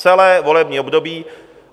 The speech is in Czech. Celé volební období!